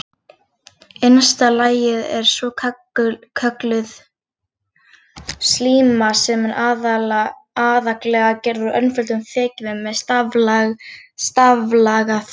Innsta lagið er svokölluð slíma sem er aðallega gerð úr einföldum þekjuvef með staflaga frumum.